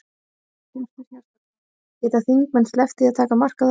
Hjörtur Hjartarson: Geta þingmenn sleppt því að taka mark á þessu?